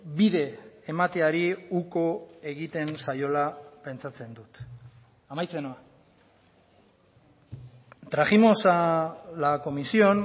bide emateari uko egiten zaiola pentsatzen dut amaitzen noa trajimos a la comisión